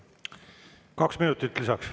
Kaks minutit lisaks.